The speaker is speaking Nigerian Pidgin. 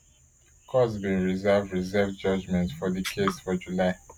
court bin reserve reserved judgement for di case for july